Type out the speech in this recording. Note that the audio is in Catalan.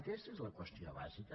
aquesta és la qüestió bàsica